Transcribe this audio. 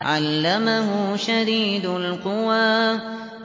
عَلَّمَهُ شَدِيدُ الْقُوَىٰ